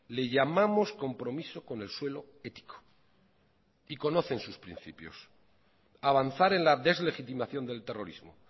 le llamamos compromiso con el suelo ético y conocen sus principios avanzar en la deslegitimación del terrorismo